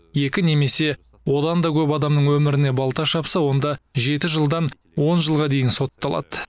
екі немесе одан да көп адамның өміріне балта шапса онда жеті жылдан он жылға дейін сотталады